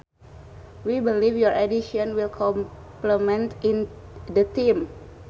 We believe your addition will complement the team